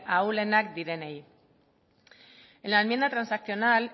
ahulenak direnei en la enmienda transaccional